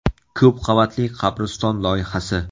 Ko‘p qavatli qabriston loyihasi.